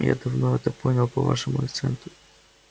я давно это понял по вашему акценту